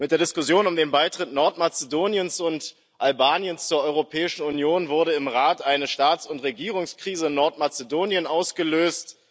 Mit der Diskussion um den Beitritt Nordmazedoniens und Albaniens zur Europäischen Union wurde im Rat eine Staats und Regierungskrise in Nordmazedonien ausgelöst.